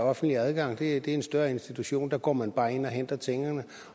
offentlig adgang det er en større institution og går man bare ind og henter tingene